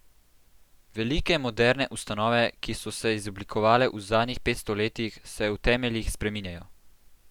Velike moderne ustanove, ki so se izoblikovale v zadnjih petsto letih, se v temeljih spreminjajo.